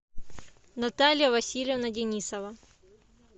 наталья васильевна денисова